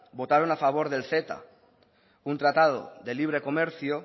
votaron a favor del ceta un tratado de libre comercio